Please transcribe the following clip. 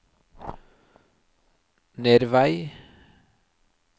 Nervei